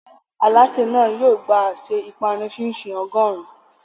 Alásè náà yóò gba àsè ìpanu chin-chin ọgọ́rùn-ún.